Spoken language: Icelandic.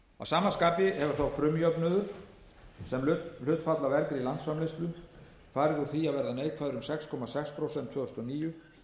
sama skapi hefur þá frumjöfnuður sem hlutfall af vergri landsframleiðslu farið úr því að vera neikvæður um sex komma sex prósent tvö þúsund og níu